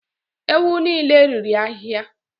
Ewu niile riri ahịhịa.